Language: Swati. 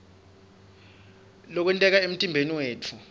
lokwenteka emtimbeni yetfu